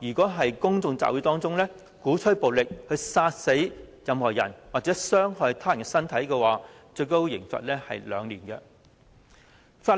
任何人在公眾聚集中，倡議使用暴力，殺死任何人，或傷害他們的身體，可處監禁2年。